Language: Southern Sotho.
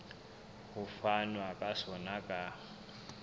ho fanwa ka sona ka